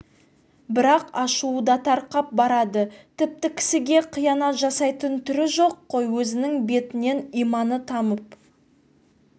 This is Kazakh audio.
бірақ ашуы да тарқап барады тіпті кісіге қиянат жасайтын түрі жоқ қой өзінің бетінен иманы тамып